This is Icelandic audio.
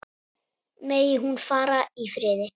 Megi hún fara í friði.